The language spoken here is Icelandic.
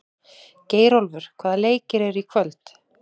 Geirólfur, hvaða leikir eru í kvöld?